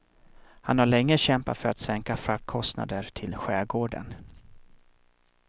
Han har länge kämpat för sänkta fraktkostnader till skärgården.